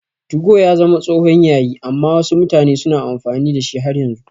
2go ya zama tsohon yayi amma wasu mutane suna amfani da shi har yanzu.